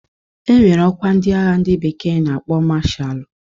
E nwere ọkwa ndi agha ndị bekee na-akpọ mashaalu